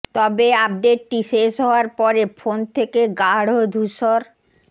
তবে আপডেটটি শেষ হওয়ার পরে ফোন থেকে গাঢ় ধূসর